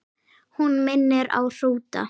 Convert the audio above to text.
Hún minni á hrúta.